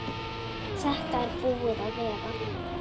Þetta er búið að vera.